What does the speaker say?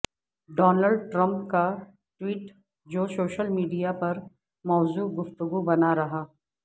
Donald Trump کا tweet جو social media پر موضوع گفتگو بنا رہا